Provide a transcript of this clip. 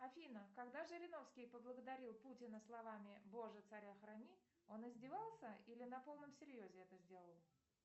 афина когда жириновский поблагодарил путина словами боже царя храни он издевался или на полном серьезе это сделал